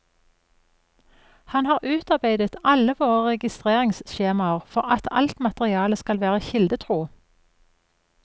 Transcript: Han har utarbeidet alle våre registreringsskjemaer for at alt materialet skal være kildetro.